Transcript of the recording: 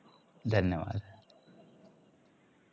धन्यवाद